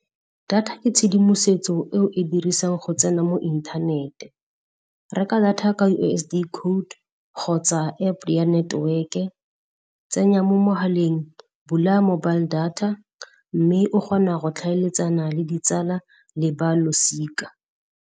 Data ke tshedimosetso e o e dirisang go tsena mo inthanete. Reka data ka U_S_S_D code kgotsa App ya network-e. Tsenya mo mogaleng, bula mobile data mme o kgona go tlhaeletsana le ditsala le ba losika.